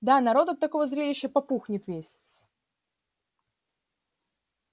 да народ от такого зрелища попухнет весь